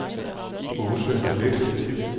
Aase Leth